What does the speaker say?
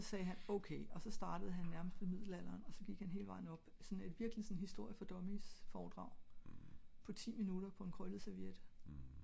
også sagde han ok også startede han nærmest ved middelalderen også gik han hele vejen op såen et helt historie for dummies foredrag på ti minutter på en krøllet serviette